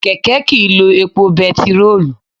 Kẹ̀kẹ́ kìí lo epo bẹntiróòlù.